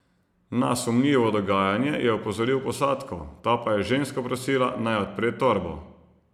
Na sumljivo dogajanje je opozoril posadko, ta pa je žensko prosila, naj odpre torbo.